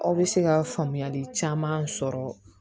Aw bɛ se ka faamuyali caman sɔrɔ